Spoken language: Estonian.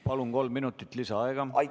Palun, kolm minutit lisaaega!